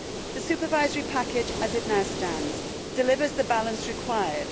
This supervisory package as it now stands delivers the balance required.